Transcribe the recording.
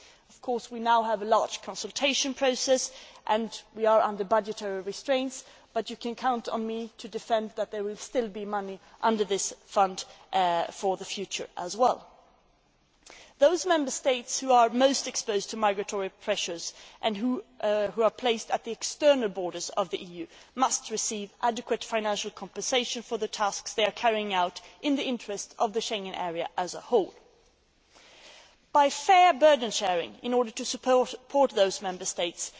Of course, we now have a large consultation process and we are under budgetary restraints, but you can count on me to ensure that there will still be money under this fund for the future as well. Those Member States most exposed to migratory pressures and located at the external borders of the EU must receive adequate financial compensation for the tasks they are carrying out in the interests of the Schengen area as a whole this by fair burden sharing in order to support those Member States